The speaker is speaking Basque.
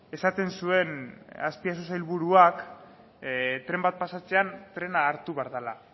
esaten zuen azpiazu sailburuak tren bat pasatzean trena hartu behar dela